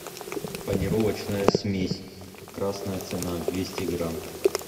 панировочная смесь красная цена двести грамм